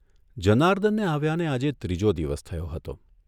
જનાર્દનને આવ્યાને આજે ત્રીજો દિવસ થયો હતો.